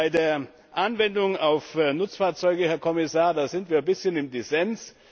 Bei der Anwendung auf Nutzfahrzeuge, Herr Kommissar, da sind wir ein bisschen im Dissens.